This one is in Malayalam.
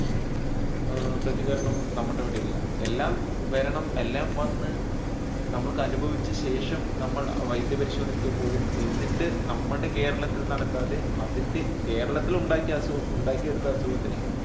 ഏർ പ്രതികരണം നമ്മുടെ ഇവിടെയില്ല എല്ലാം വരണം എല്ലാം വന്നു നമ്മൾ അനുഭവിച്ച ശേഷം നമ്മൾ വൈദ്യ പരിശോധനയ്ക്ക് പോകും എന്നിട്ട് നമ്മുടെ കേരളത്തിൽ നടക്കാതെ അതിന്റെ കേരളത്തിൽ ഉണ്ടാക് ഉണ്ടാക്കിയെടുത്ത അസുഖത്തിനെ